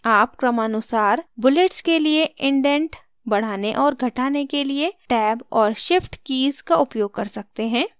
आप क्रमानुसार bullets के लिए indent बढ़ाने और घटाने के लिए टैब और shift कीज़ का उपयोग कर सकते हैं